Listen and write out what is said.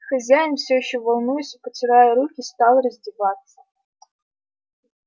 хозяин всё ещё волнуясь и потирая руки стал раздеваться